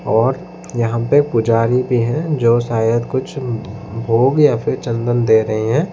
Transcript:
और यहां पे पुजारी भी हैं जो शायद कुछ हो गया फिर चंदन दे रहे हैं।